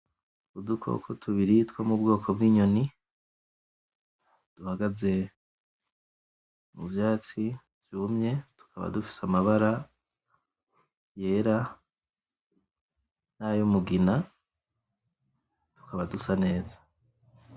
Udukoko tubiri two mubwoko bw'inyoni, duhagaze muvyatsi vyumye tukaba dufise amabara yera, n'ayumugina tukaba dusa neza.